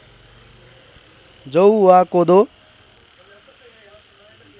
जौ वा कोदो